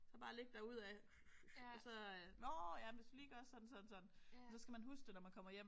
Så bare ligge derud af og så nåh ja hvis du lige gør sådan sådan sådan. Så skal man huske det når man kommer hjem